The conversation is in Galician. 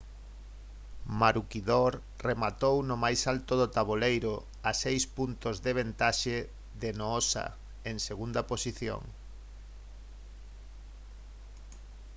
maroochydore rematou no máis alto do taboleiro a seis puntos de vantaxe de noosa en segunda posición